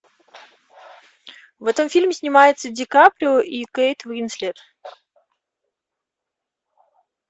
в этом фильме снимается ди каприо и кейт уинслет